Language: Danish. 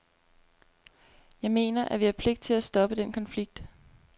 Jeg mener, at vi har pligt til at stoppe den konflikt.